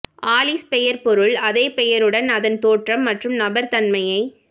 Alice பெயர் பொருள் அதே பெயருடன் அதன் தோற்றம் மற்றும் நபர் தன்மையை